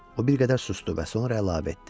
O bir qədər susdu və sonra əlavə etdi.